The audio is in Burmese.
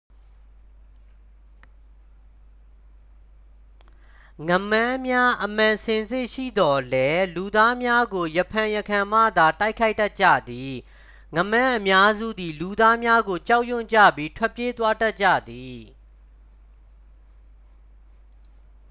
ငါးမန်းများ အမှန်စင်စစ်ရှိသော်လည်း လူသားများကို ရံဖန်ရံခါမှသာ တိုက်ခိုက်တတ်ကြသည် ငါးမန်းအများစုသည် လူသားများကို ကြောက်ရွံ့ကြပြီး ထွက်ပြေးသွားတတ်ကြသည်